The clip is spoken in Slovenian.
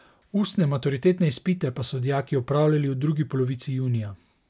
Ustne maturitetne izpite pa so dijaki opravljali v drugi polovici junija.